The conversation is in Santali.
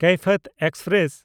ᱠᱮᱭᱯᱷᱤᱭᱟᱛ ᱮᱠᱥᱯᱨᱮᱥ